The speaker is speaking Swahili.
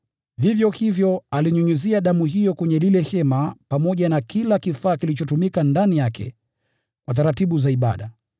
Vivyo hivyo alinyunyizia damu hiyo kwenye ile hema pamoja na kila kifaa kilichotumika ndani yake kwa taratibu za ibada.